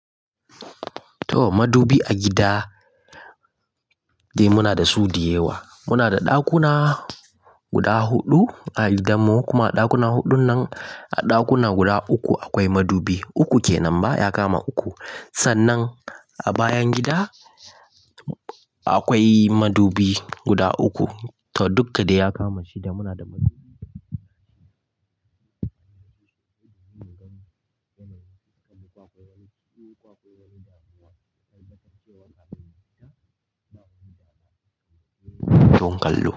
To madubi a gida dai muna da su diyawa. Muna da ɗakuna guda huɗu a gidan mu kuma a ɗakuna huɗun nan a ɗakuna guda uku akwai madubi. Uku ke nan ba ya kama uku. Sannan a bayan gida akwai madubi guda uku to duk da ya kama shida muna da madubi. Don kallo.